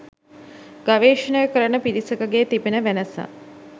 ගවේෂණය කරන පිරිසකගේ තිබෙන වෙනස.